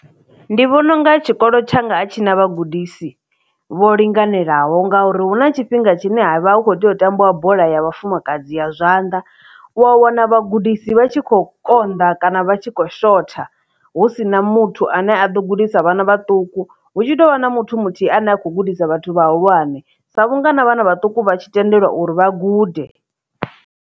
Ndi vhona unga tshikolo tshanga a tshi na vhagudisi vho linganelaho ngauri hu na tshifhinga tshine ha vha hu khou tea u tambiwa bola ya vhafumakadzi ya zwanḓa u a wana vhagudisi vha tshi kho konḓa kana vha tshi khou shotha hu si na muthu ane a ḓo gudisa vhana vhaṱuku hu tshi tovha na muthu muthihi ane a kho gudisa vhathu vha hulwane sa vhungana vhana vhaṱuku vha tshi tendelwa uri vha gude.